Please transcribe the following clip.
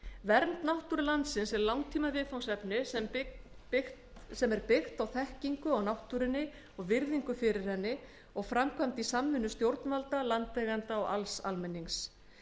vernd náttúru landsins er langtíma viðfangsefni sem er byggt á þekkingu á náttúrunni og virðingu fyrir henni og framkvæmt í samvinnu stjórnvalda landeigenda og alls almennings